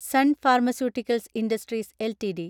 സൻ pharmaceuticals industries LTD